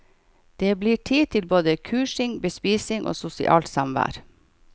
Det blir tid til både kursing, bespisning og sosialt samvær.